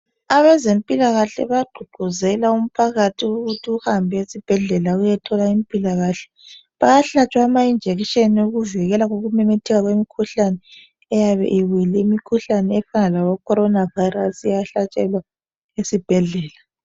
Abezempilakahle bagqugquzela umphakathi ukuthi uhambe uye esibhedlela. Uyethola impilakahle. Bayahlatshwa amainjekisheni, okuvikela, kokumemetheka komkhuhlahe oyabe ibuyile. lmikhuhlane efana laboCorona virus. Iyahlatsheowa esibhedlela.